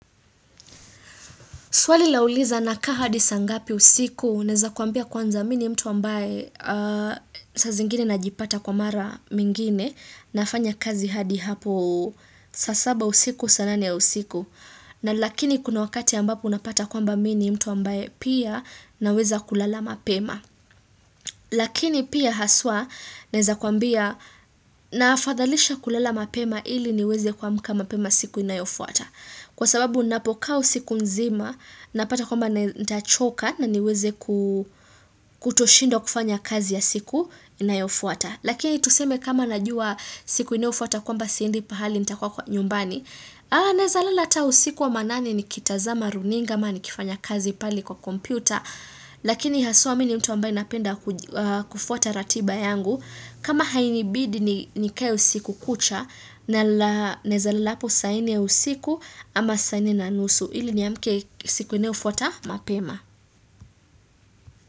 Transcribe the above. Swali la uliza na kaa hadi saa ngapi usiku, naweza kuambia kwanza mimi ni mtu ambaye saa zingine najipata kwa mara mingine, nafanya kazi hadi hapo, saa saba usiku, saa nane usiku. Na lakini kuna wakati ambapo unapata kwamba mimi ni mtu ambaye pia naweza kulala mapema. Lakini pia haswa naweza kuambia naafadhalisha kulala mapema ili niweze kua mka mapema siku inayofuata. Kwa sababu ninapokaa usiku nzima, napata kwamba nita choka na niweze kutoshindwa kufanya kazi ya siku inayofuata. Lakini tuseme kama najua siku inayofuata kwamba siendi pahali nitakuwa kwa nyumbani. Naweza lala hata usiku wa manane ni kitazama runinga ama nikifanya kazi pale kwa kompyuta. Lakini haswa mimi ni mtu ambaye napenda kufuata ratiba yangu. Kama hainibidi ni kae usiku kucha nawezalala hapo sanne ya usiku ama sanne na nusu ili ni amke siku inayo fuata mapema.